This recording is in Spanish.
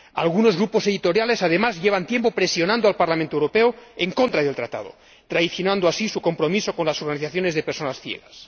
Algunos grupos editoriales, además, llevan tiempo presionando al Parlamento Europeo en contra del Tratado, traicionando así su compromiso con las organizaciones de personas ciegas.